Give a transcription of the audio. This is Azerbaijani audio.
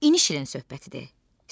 İndi şirin söhbətidir.